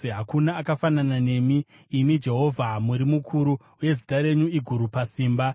Hakuna akafanana nemi, imi Jehovha; muri mukuru, uye zita renyu iguru pasimba.